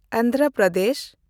Andhra Pradesh